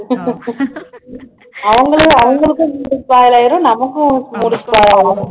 அவங்களே அவங்களுக்கும் mood spoil ஆயிரும் நமக்கும் mood spoil ஆயிரும்